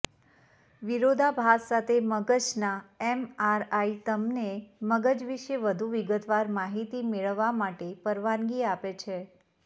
વિરોધાભાસ સાથે મગજના એમઆરઆઈ તમને મગજ વિશે વધુ વિગતવાર માહિતી મેળવવા માટે પરવાનગી આપે છે